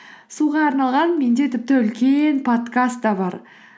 суға арналған менде тіпті үлкен подкаст та бар